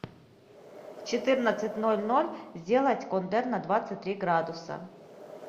в четырнадцать ноль ноль сделать кондер на двадцать три градуса